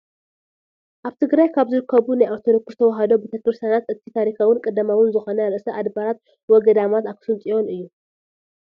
ኣብ ትግራይ ካብ ዝርከቡ ናይ ኦርቶዶክስ ተዋህዶ ቤተ ክርስትያናት እቲ ታሪካውን ቀዳማውን ዝኾነ ርእሰ ኣድባራት ወ ገዳማት ኣክሱም ፅዮን እዚ እዩ፡፡